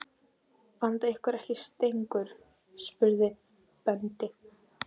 Vantar ykkur ekki stengur? spurði Böddi.